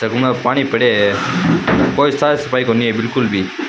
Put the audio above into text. Tub में पानी पड़े है कोई साफ सफाई नही है बिलकुल भी।